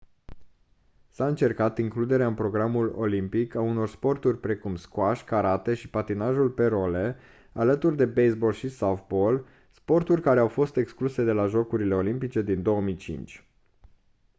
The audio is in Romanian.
s-a încercat includerea în programul olimpic a unor sporturi precum squash karate și patinajul pe role alături de baseball și softball sporturi care au fost excluse de la jocurile olimpice din 2005